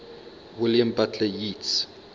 william butler yeats